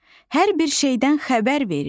Hər bir şeydən xəbər verir.